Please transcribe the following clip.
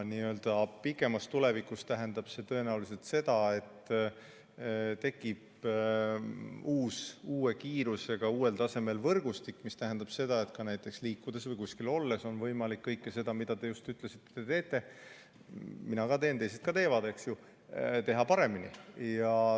Kaugemas tulevikus tähendab see tõenäoliselt seda, et tekib uus, uue kiirusega ja uuel tasemel võrgustik, mis tähendab seda, et näiteks liikudes või kuskil olles on võimalik teha kõike seda, mida te just ütlesite, et te teete – mina ka teen ja teised ka teevad, eks ju –, paremini.